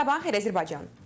Sabahınız xeyir Azərbaycan.